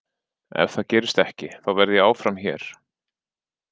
Ef það gerist ekki, þá verð ég áfram hér.